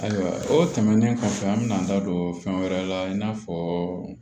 Ayiwa o tɛmɛnen kɔfɛ an bɛna an da don fɛn wɛrɛ la i n'a fɔ